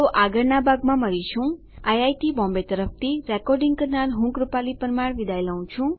IIT Bombay તરફથી spoken tutorial project માટે ભાષાંતર કરનાર હું જ્યોતી સોલંકી વિદાય લઉં છુ